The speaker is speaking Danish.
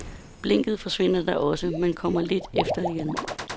Blinket forsvinder da også, men kommer lidt efter igen.